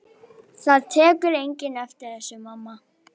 Það tekur enginn eftir þessu, mamma.